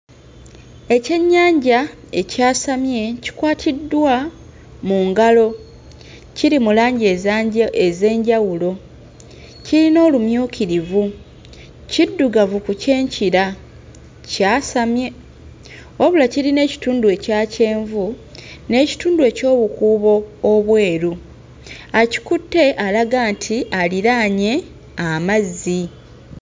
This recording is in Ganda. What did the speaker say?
Ekyennyanja ekyasamye kikwatiddwa mu ngalo, kiri mu langi ezanja... ez'enjawulo, kiyina olumyukirivu, kiddugavu ku kyenkira, kyasamye, wabula kirina ekitundu ekya kyenvu n'ekitundu eky'obukuubo obweru; akikutte alaga nti aliraanye amazzi.